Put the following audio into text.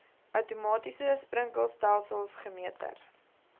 outomatiese sprinkelstelsels gemeter